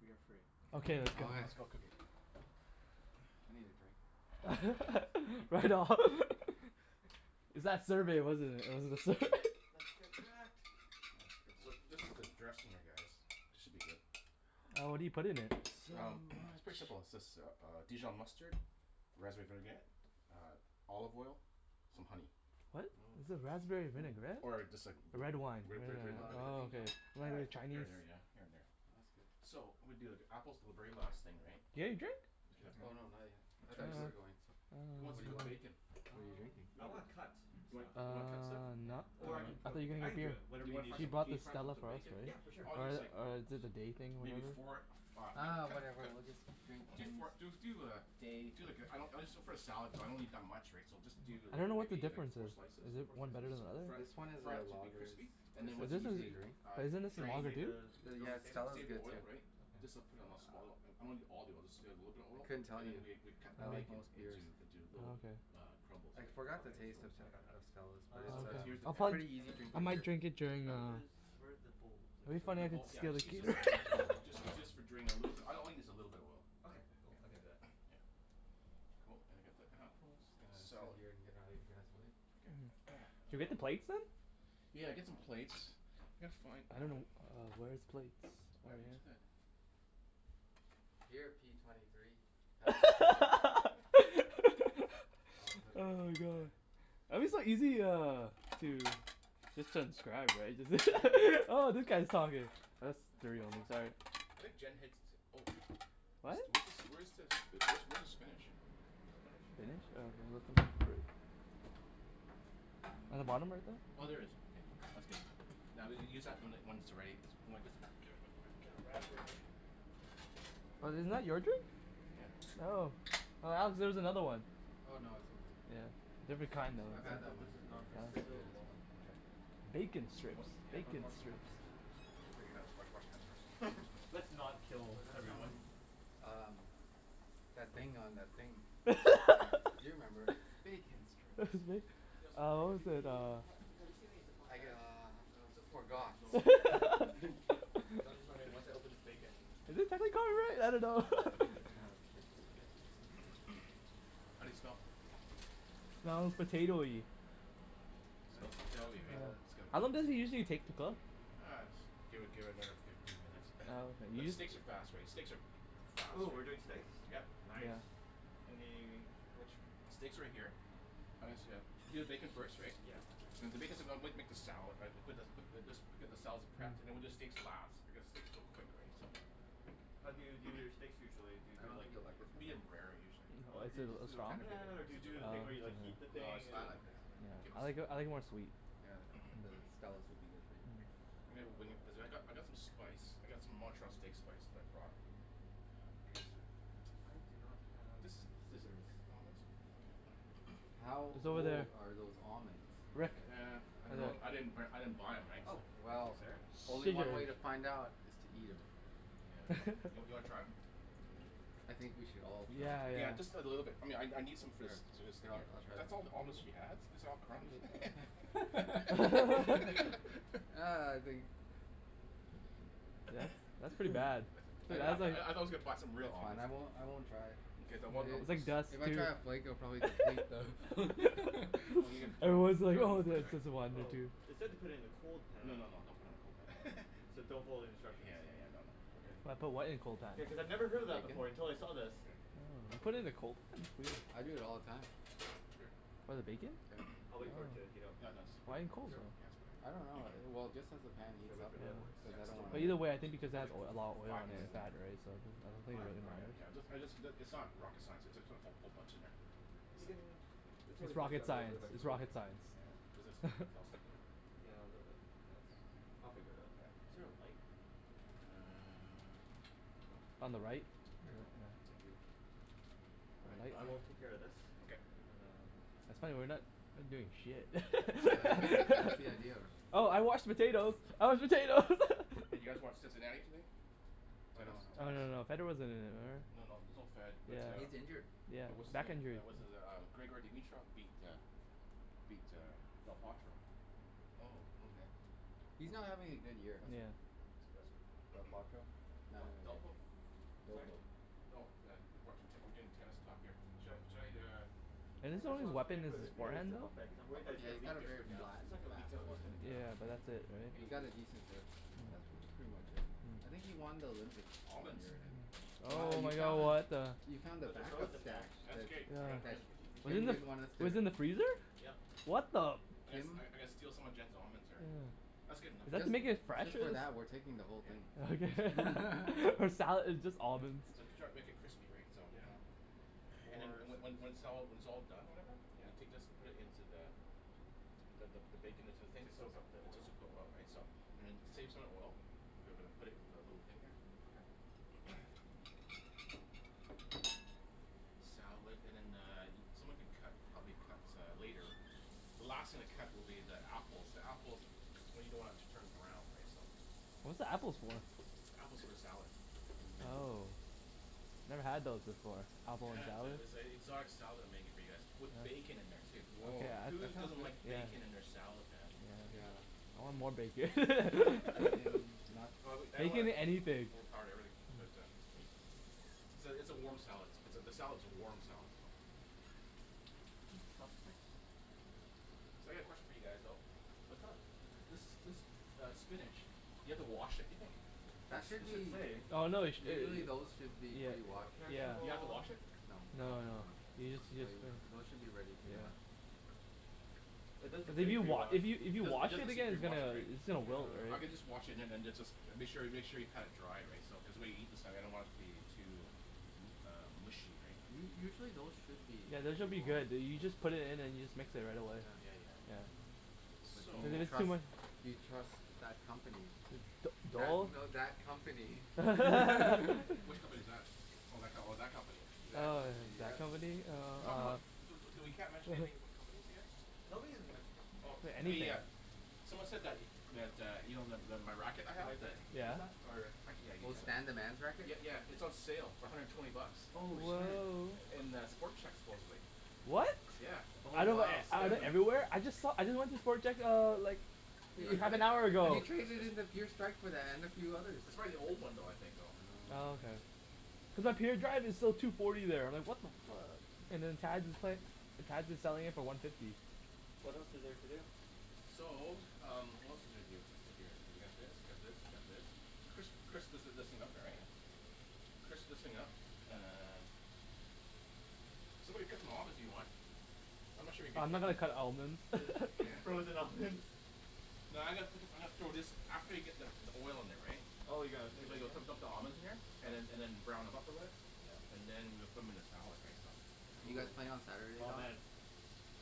We are free. Okay. Let's go cook it. I need a drink. Yes. Right on. It's that survey, wasn't it? It was the sur- Let's get cracked. So, this is the dressing, I guess. This should be good. Oh, what do you put in It's it? so Um it's much. pretty simple. It's just uh dijon mustard, raspberry vinaigrette, uh olive oil, some honey. What? Is it raspberry vinaigrette? Or just like The red wine Re- Do red wine you do a lot of Oh, vinaigrette. cooking, Don? okay. Uh, Very here Chinese. and there, yeah. Here and there. That's good. So, I'm gonna do, like, apples are the very last thing, right? Yeah, you drink? Oh, Okay. no. Not yet. I thought you were going to. Who wants What to do you cook want? bacon? What are you Um, drinking? You I wanna wanna cut cook, stuff Uh like You wanna cut stuff? Yeah. not now. Or I can I cook thought it. you're I gonna can get do you it. Do Whatever you you wanna need fry He some, me bought can the fry up Stella some for us, bacon? right? Yeah. For sure. All you need Or is the, like or did the day thing, Maybe whatever. four of uh Uh, cut whatever cut we'll just drink Do Kim's four do do uh day. Do like a, I don't, it's just for a salad, so I don't need that much, right. So just do I like, don't know what the maybe like difference four is. slices. Is it Four one better than slices? the other? Fry it This one is fry one of it the to be lagers. crispy. And But this then once is, crispy, uh but isn't Do this you want some me to drain other save the, dude? do you want me Yeah, to s- save it? s- salad's save the good too. oil, right. Okay. Just uh, put it in a small. I'm not a need all the oil. Just add a little bit of I oil. couldn't tell And you. then we we'd cut the I like bacon most beers. into, into little Oh okay. uh crumbles, I right. forgot the Okay. That's taste cool. of I got that. of Stella's. But Um. So it's it's, here's the pan. um pretty And easy then I where drinking does might beer. drink during where uh, does, where're the bowls? I guess it'd be I'll funny The use if I'd one. bowl, yeah, steal just a use k- this for, just need to use for drain, a little bit. All I need is a little bit of oil. Okay. Cool. I can do that. Yeah, cool. And then get the Just apples. gonna sit Salt here and get out of your guys' way. Okay. Can we get the plates then? Yeah. Get some plates. Yeah, it's fine, I I don't dunno know, uh where are his plates? Oh yeah. Here, P twenty three. I'll put it Oh my over god! there. I'm just like easy uh, to just transcribe, right? Oh, that guy's talking. That's three One more. almost. All right. I think Jen hits, oh sh- This What? do- where's this where's this, where's the spinach? Spinach? I'm not sure. In the bottom right there? Oh, there it is. Okay. That's good. Now, we'll use when that when it's ready, or I guess, Get around there Was it not your drink? Yeah. Oh. Oh, Alex, there's another one. Oh, no. It's okay. Yeah. Different kind I've though. had that This one is before. not It's pretty good as resealable. well. Okay. Bacon What strips. yeah. Bacon strips. Clean your hands. Wash wash your hands first. Let's not Well kill that's from everyone. um that thing on that thing. Yeah. You remember. "Bacon strips" These look Uh pretty what was Do it, good. we uh ha- have you seen any zip lock I bags? uh Uh zip lock bag? forgot. No. Okay. Hey, I was just wondering, once I open this bacon, what's the Have we got it right? I don't know. It would be good to Yeah. have a place to put it. How do they smell? Smells potatoey. Smells potatoey, right? It's got How a long bit does it usually take to cook? Uh, just give it give it another fifteen minutes. Oh, okay. But steaks are fast, right? Steaks are fast, Ooh, we're doing right? steaks? Yep. Nice. Any, which Steaks are right here. uh-huh. I guess uh, you do the bacon first, right? Yeah, I'll do this make the salad, right. Put the put this put the just get the salad's prepped, and then we'll do the steaks last, because steaks are so quick, right. So How do you do your steaks usually? Do you I do don't like think you'll like this the one though. Medium rare, usually. Oh Oh is do you it just a do it It's on the song? kind of bitter. pan, or do you do the thing where you like heat the No, let's thing But and do it I on the like it. pan. Keep it I like simple I like it more sweet. Yeah. The Stella's would be good for you. I mean when, cuz I've got Uh I've got some spice. I got some Montreal steak spice that I brought. Uh, here is the I do not have scissors. How It's over there. old are those almonds? Rick, Nah, there. I don't know. I didn't b- I didn't buy 'em, right? Oh, So thank you Well sir. Only one way to find Scissors. out, is to eat 'em. Yeah. You w- you wanna try 'em? I think we should all Yeah, try. Yeah. yeah. Just a little bit. I mean I n- I need some Yeah, I'll I'll try. That's all the almonds she has? These are all crumbs. Ah, I think That's that's pretty bad. I But di- I was like you a box of real it's fine, almonds. I won't I won't try. Okay. Then It what was like dust, If I try a flake I'll dude. probably deplete the It was like, oh it's just one or Oh, two. it said to put it in a cold No, pan. no, no. Don't put it in a cold pan. So don't follow the Yeah instructions. yeah yeah, no no. Okay. Put what in a cold pan? Yeah, cuz I've never heard of that before until I saw this. Here. Oh, I put it in the cold. I do it all the time. What, the Here. bacon? Yeah. I'll wait for it to heat up Yeah, and no, then just put Why it in cold? in Sure? just I don't put it in. know. Well, just as the pan Should I heats wait up, for the other ones? cuz Yeah. I That's don't too wanna But many. either way, I think There's because it probably adds like a lot of f- oil five pieces and in there. fat, right, so Five? All right. Yeah. I just I just, it's not rocket science. It's just, put a whole bunch in there. We can, it's It's always nice to rocket have a little bit science. of extra It's bacon. rocket Yeah. This science. is all sticking here. Yeah, a little bit. That's, I'll figure it out. Yeah. Is there a light? Uh On the right. Here you go. Thank you. All right, I will take care of this. Okay. And That's funny, we're not doing shit. that's the idea of her. Oh, I washed the potatoes. I washed potatoes. Hey, did you guys watch Cincinnati today? Tennis. Oh Oh no, no no Tennis? no. no. Federer wasn't in it, or No, no. There's no Fed, but uh He's injured. Yeah, But what's his back name, injury. uh what's his uh, Grigor Dimitrov beat uh beat uh Del Potro Oh, okay. He's not Awesome. having a good That's year. Yeah. cool. That's cool. Del Potro? Uh, D- Delpo? Sorry? Oh, yeah. We're doing tennis talk here. Should I should I, uh And Yeah, his that's only why I was weapon wondering is wh- his if we had a forehand zip though? lock bag because I'm I'll worried that put it it's Yeah, here, gonna he's leak. I'll got put it a here very for now. flat It's and not gonna leak fast out, is forehand. it? Nah. Yeah. But that's it, right? You got Hey! a decent That's pretty much it. I think he won the Olympic Almonds. Wow, Oh you my god, found what the the You found the But they're back up frozen now. stash That's okay. I'm gonna I'm Yeah. That Just you Wasn't microwave it, didn't gonna them? want us it to was in the freezer? Yep. What the I gotta st- I Kim I gotta steal some of Jen's almonds here. That's good enough. Is that to make it fresh Just or for s- that, we're taking the whole Yeah. thing. Okay. For salad. It's just almonds. So to try and make it crispy, right. So Yeah. And then, More and so- when when it's all, when it's all done, or whatever Yeah. You take this, put it into the the, the bacon into the thing To soak up the It oil. soaks up the oil, right. So, and then save some of the oil. We're gonna put it in our little thing here. Okay. Salad and then the, someone could cut, help me cut uh later. The last thing to cut will be the apples. The apples, you don't wanna turn brown, right, so What's the apples for? The apple's for the salad. Oh. Never had those before. Apple in a Yes. salad. It's a exotic style that I'm making for you guys, with bacon in there too. Woah. Whose That sounds doesn't good. like Yeah. Yeah. bacon in their salad, man? Yeah. I want more bacon. Bacon, nuts. Oh I w- I don't wanna Bacon anything. overpower the herb but uh. So, it's a warm salad. It's a, the salad's a warm salad though. So, I got a question for you guys though. What's up? This this uh spinach, do you have to wash it, do you think? That should It should be say. Oh no they sh- Usually those should be Yeah. pre-washed. Here's the Do you have to bowl. wash it? No. No, no. Yeah. Those should be ready to Yeah. go. It doesn't If say you wa- pre-washed. if you if It you doesn't it wash doesn't it say again it's pre-washed, gonna right? it's gonna wilt, I right? Yeah. can just wash it and then it's just, make sure y- make sure you pat it dry, right? So cuz when we eat this I don't want the it to be um too uh mushy, right? U- usually those should be Yeah. This should be good. You you just put it in and you just mix it right away. Yeah yeah yeah. S- So Do you it's too trust much. do you trust that company? That, no that company. Which company is that? Oh, that co- that company. That Oh, company, yeah, that yes. company. Uh Talk about, uh so, so we can't mention anything about companies here? No, we didn't mention company Okay, names, yeah. yeah. Someone said that that, uh, you know the the my racket I Can have, I that use that or I can, yeah, I'll Oh, use Stan the that. man's racket? Yeah, yeah. It's on sale for a hundred and twenty bucks. Oh Oh shit. wow. In the Sport Chek supposedly. What? Yeah. Oh I know, wow. I went everywhere. I just saw, I just went to Sport Chek uh, like half an hour You ago. traded in and a few others. It's probably the old one though, I think, you know. Oh, Oh. okay. Cuz up here, the drive is still two forty there. Like what the fuck selling it for one fifty. What else is there to do? So, um what else is there to do here, what's here, you got this, you got this, you got this. Crisp, crisp this is up here, right? Okay. Crisp this thing up uh Somebody cut them almonds, if you want. I'm not sure you can Uh I'm not cut gonna cut almonds. the Yeah. Frozen almonds. No, I'm gonna put, I'm gonna throw this after you get the the oil in there, right. Oh, you're gonna put it in there? the almonds in here. And then and then brown them up a bit. Yeah. And then, we'll put them 'em in the salad, right. So You Ooh. guys playing on Saturday, Oh Don? man.